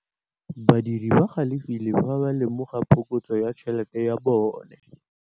Badiri ba galefile fa ba lemoga phokotsô ya tšhelête ya bone.